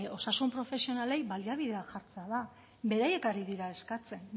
osasun profesionalei baliabideak jartzea da beraiek ari dira eskatzen